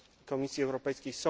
Komisji Europejskiej.